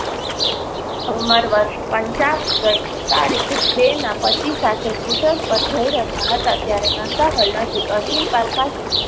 ઉંમર વર્ષ પંચાવન ગઈ તારીખ બે ના પતિ સાથે સ્કૂટર પર જઈ રહ્યા હતા. ત્યારે નંદાહોલ નજીક અર્જુનપાર્ક પાસે